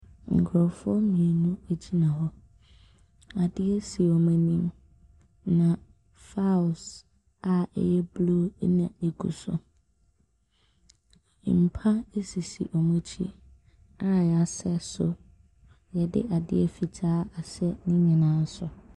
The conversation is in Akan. Nkurɔfoɔ mmienu gyina hɔ. Adeɛ si wɔn anim, na files a ɛyɛ blue na ɛgu so. Mpa sisi wɔn akyi a wɔasɛ so, wɔde ade fitaa asɛ ne nyinaa so.